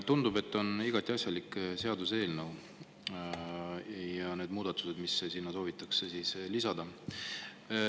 Tundub, et see on igati asjalik seaduseelnõu ja ka need muudatused, mis sinna soovitakse lisada, on asjalikud.